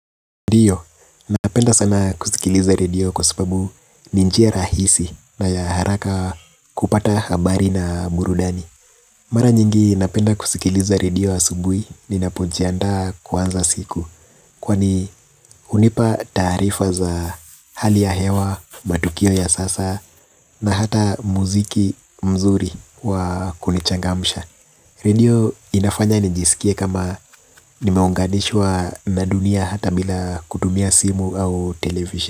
Ndio, napenda sana kusikiliza radio kwa sababu ni njia rahisi na ya haraka kupata habari na burudani. Mara nyingi napenda kusikiliza radio asubui ninapojiandaa kuanza siku. Kwani hunipa taarifa za hali ya hewa, matukio ya sasa na hata muziki mzuri wa kunichangamsha. Radio inafanya nijisikie kama nimeunganishwa na dunia hata bila kutumia simu au television.